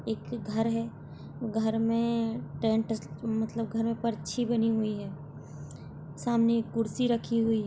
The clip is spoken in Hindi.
एक घर है घर में टेंट मतलब पर्ची बनी हुई है सामने एक कुर्सी रखी हुई है।